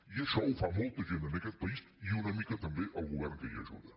i això ho fa molta gent en aquest país i una mica també el govern que hi ajuda